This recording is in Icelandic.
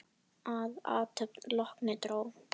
Að athöfn lokinni dró